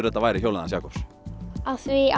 þetta væri hjólið hans Jakobs af því